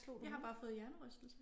Jeg har bare fået hjernerystelse